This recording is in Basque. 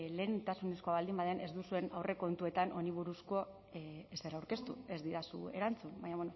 lehentasunezkoa baldin baden ez duzuen aurrekontuetan honi buruzko ezer aurkeztu ez didazu erantzun baina